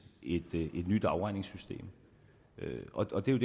et nyt afregningssystem og det er